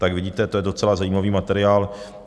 Tak vidíte, to je docela zajímavý materiál.